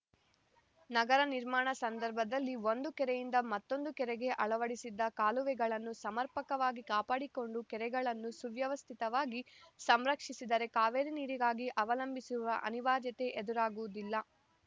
ನಗರ ನಿರ್ಮಾಣ ಸಂದರ್ಭದಲ್ಲಿ ಒಂದು ಕೆರೆಯಿಂದ ಮತ್ತೊಂದು ಕೆರೆಗೆ ಅಳವಡಿಸಿದ್ದ ಕಾಲುವೆಗಳನ್ನು ಸಮರ್ಪಕವಾಗಿ ಕಾಪಾಡಿಕೊಂಡು ಕೆರೆಗಳನ್ನು ಸುವ್ಯವಸ್ಥಿತವಾಗಿ ಸಂರಕ್ಷಿಸಿದರೆ ಕಾವೇರಿ ನೀರಿಗಾಗಿ ಅವಲಂಬಿಸುವ ಅನಿವಾರ್ಯತೆ ಎದುರಾಗುವುದಿಲ್ಲ